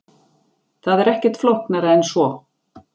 Það er ekkert flóknara en svo.